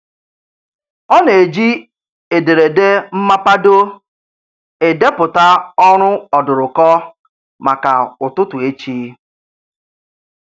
Ọ na-eji ederede mmapado edeputa ọrụ ọdụrụkọ maka ụtụtụ echi.